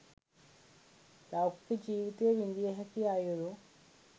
ලෞකික ජීවිතය විඳිය හැකි අයුරු